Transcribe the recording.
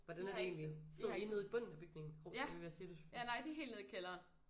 Hvordan er det egentlig sidder I nede i bunden af bygningen hov sorry hvad siger du Sofie?